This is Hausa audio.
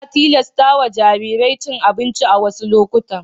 Ana tilasta wa jarirai cin abinci a wassu lokutan.